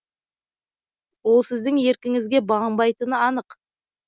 ол сіздің еркіңізге бағынбайтыны анық